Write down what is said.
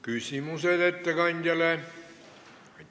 Küsimused ettekandjale.